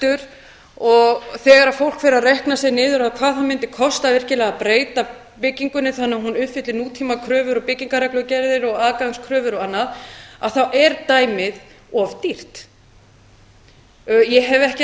rekstur og þegar fólk fer að reikna sig niður á hvað það mundi kosta virkilega að breyta byggingunni þannig að hún uppfylli nútímakröfur og byggingarreglugerðir og aðgangskröfur og annað þá er dæmið of dýrt ég hef ekki